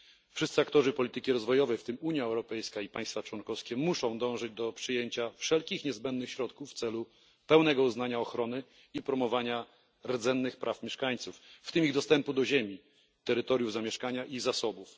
Wszyscy aktorzy polityki rozwojowej, w tym Unia Europejska i państwa członkowskie, muszą dążyć do przyjęcia wszelkich niezbędnych środków w celu pełnego uznania ochrony i promowania rdzennych praw mieszkańców, w tym ich dostępu do ziemi, terytoriów zamieszkania i zasobów.